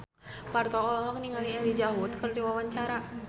Parto olohok ningali Elijah Wood keur diwawancara